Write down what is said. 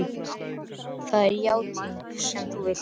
Það er játningin sem þú vilt.